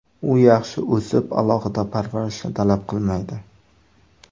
U yaxshi o‘sib, alohida parvarishni talab qilmaydi.